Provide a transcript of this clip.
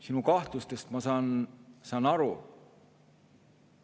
Sinu kahtlustest ma saan aru.